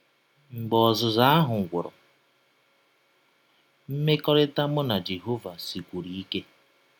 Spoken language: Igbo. Mgbe ọzụzụ ahụ gwụrụ, mmekọrịta mụ na Jehọva sikwụrụ ike.